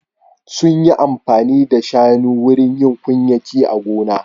Sun yi amfani da shanu wurin yin kunyaki a gona.